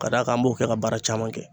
Ka d'a kan an b'o kɛ ka baara caman kɛ.